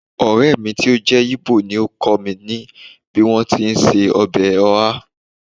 Ọ̀rẹ́ mi tó jẹ́ Igbo ni ó kọ́ mi bí wọ́n ti ń se ọbẹ̀ oha